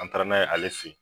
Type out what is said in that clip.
An taara n'a ye ale fe yen